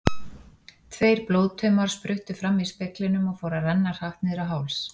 Tveir blóðtaumar spruttu fram í speglinum og fóru að renna hratt niður á háls.